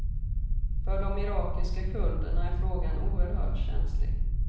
För de irakiska kurderna är frågan oerhört känslig.